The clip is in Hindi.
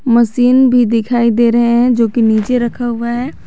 मसीन भी दिखाई दे रहे हैं जो कि नीचे रखा हुआ है।